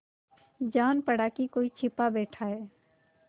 जान पड़ा कि कोई छिपा बैठा है